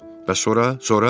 Bəs sonra, sonra?